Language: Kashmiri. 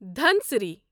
دھنسری